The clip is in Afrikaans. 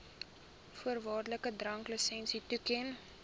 voorwaardelike dranklisensie toeken